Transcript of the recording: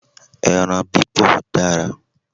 Ẹran bibọ̀ dára